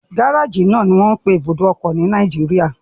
Gárájì náà ni wọ́n ń pe ibùdó ọkọ̀ ní Nàìjíríà.